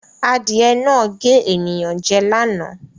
Adìẹ náà gé ènìyàn jẹ lánàá.